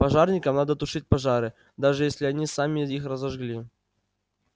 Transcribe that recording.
пожарникам надо тушить пожары даже если они сами их разожгли